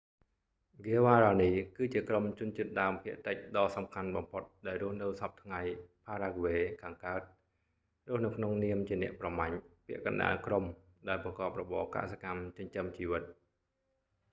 ហ្គាវ៉ារ៉ានី guaraní គឺជាក្រុម​ជនជាតិ​ដើមភាគតិចដ៏សំខាន់បំផុត​ដែលរស់នៅ​សព្វថ្ងៃផារ៉ាហ្គ្វេ paraguay ខាងកើត ​រស់នៅក្នុងនាម​ជា​អ្នកប្រមាញ់ ពាក់កណ្តាលក្រុមដែលប្រកបរបរ​កសិកម្មចិញ្ចឹមជីវិត។